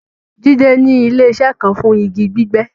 Jídẹ̀ ni ilẹ̀-iṣẹ̀ kàn fún igi gbígbẹ́